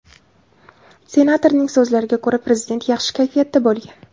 Senatorning so‘zlariga ko‘ra, prezident yaxshi kayfiyatda bo‘lgan.